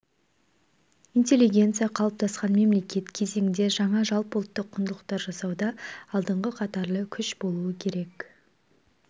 интеллигенция қалыптасқан мемлекет кезеңінде жаңа жалпыұлттық құндылықтар жасауда алдыңғы қатарлы күш болуы керек